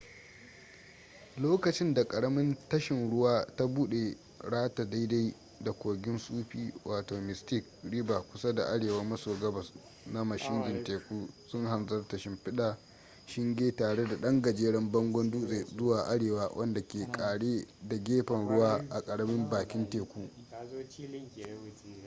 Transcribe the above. lokacin da karamin tashin ruwa ta bude rata daidai da kogin sufi wato mystic river kusa da arewa maso gabas na mashigin teku sun hanzarta shimfiɗa shinge tare da ɗan gajeren bangon dutse zuwa arewa wanda ke ƙare da gefen ruwa a karamin bakin teku